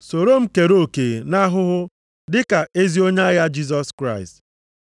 Soro m kere oke nʼahụhụ dị ka ezi onye agha Jisọs Kraịst.